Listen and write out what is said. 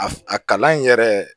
A a kalan in yɛrɛ